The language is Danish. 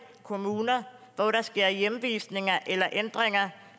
kommuner hvor der sker hjemvisninger eller ændringer